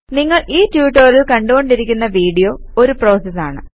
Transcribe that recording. നിങ്ങൾ ഈ ട്യൂട്ടോറിയൽ കണ്ടുകൊണ്ടിരിക്കുന്ന വീഡിയോ ഒരു പ്രോസസ് ആണ്